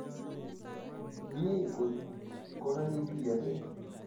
Mie kot kokakituiyogei